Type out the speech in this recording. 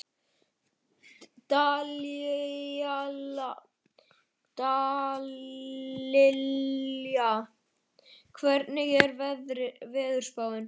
Dallilja, hvernig er veðurspáin?